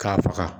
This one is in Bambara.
K'a faga